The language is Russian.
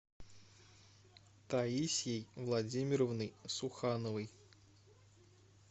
таисьей владимировной сухановой